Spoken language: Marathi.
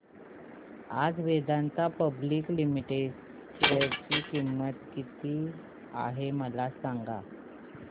आज वेदांता पब्लिक लिमिटेड च्या शेअर ची किंमत किती आहे मला सांगा